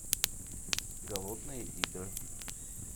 голодные игры